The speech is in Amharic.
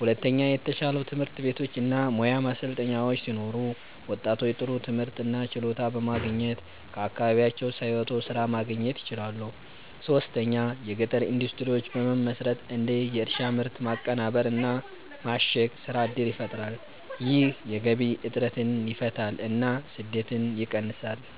ሁለተኛ የተሻሉ ትምህርት ቤቶች እና ሙያ ማሰልጠኛዎች ሲኖሩ ወጣቶች ጥሩ ትምህርት እና ችሎታ በማግኘት ከአካባቢያቸው ሳይወጡ ስራ ማግኘት ይችላሉ። ሶስተኛ የገጠር ኢንዱስትሪዎች በመመስረት እንደ የእርሻ ምርት ማቀናበር እና ማሸግ ስራ እድል ይፈጠራል። ይህ የገቢ እጥረትን ይፈታል እና ስደትን ይቀንሳል።